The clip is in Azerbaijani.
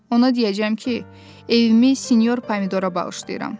Ona deyəcəm ki, evimi sinyor Pomidora bağışlayıram.